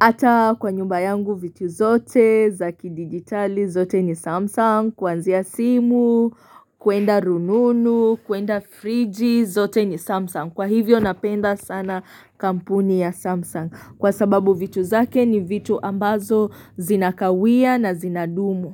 ata kwa nyumba yangu vitu zote zakidigitali zote ni samsung kuanzia simu kuenda rununu kuenda friji zote ni samsung kwa hivyo napenda sana kampuni ya samsung kwa sababu vitu zake ni vitu ambazo zinakawia na zinadumu.